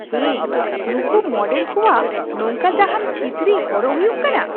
ᱦᱮᱭ ! ᱱᱩᱝᱠᱩ ᱢᱚᱰᱮᱞ ᱠᱚᱣᱟᱜ ᱱᱚᱝᱠᱟ ᱡᱟᱦᱟᱱ ᱠᱤᱪᱨᱤᱡ ᱦᱚᱨᱚᱜ ᱦᱩᱭᱩᱜ ᱠᱟᱱᱟ ᱾